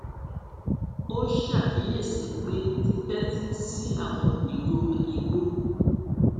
ó ṣàkíyèsi pé títẹtí sí àwọn ìró igbó